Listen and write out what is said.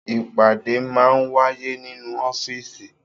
Ìpàdé máa ń wáyé nínú ọ́fíísì.